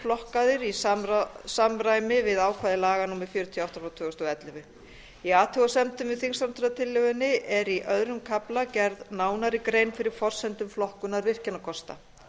flokkaðir í samráði við ákvæði laga númer fjörutíu og átta tvö þúsund og ellefu í athugasemdum með þingsályktunartillögunni er í öðrum kafla gerð nánari grein fyrir forsendum flokkunar virkjunarkosta